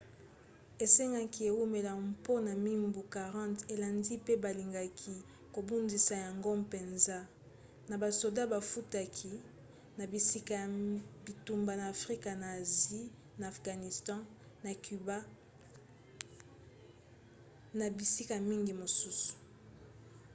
esengaki eumela mpona mibu 40 elandi pe balingaki kobundisa yango mpenza na basoda bafutaki na bisika ya bitumba na afrika na asie na afghanistan na cuba mpe na bisika mingi mosusu